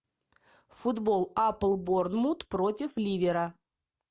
футбол апл борнмут против ливера